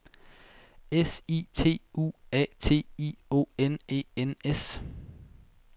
S I T U A T I O N E N S